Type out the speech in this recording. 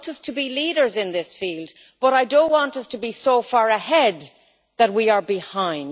I want us to be leaders in this field, but I do not want us to be so far ahead that we are behind.